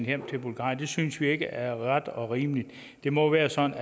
hjem til bulgarien det synes vi ikke er ret og rimeligt det må være sådan